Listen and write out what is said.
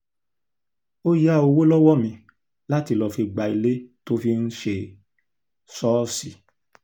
gẹ́gẹ́ bó ṣe ṣàlàyé ayalégbé mi ní pásítọ̀ ó gba yàrá méjì ní wàún táọ̀sán lóṣù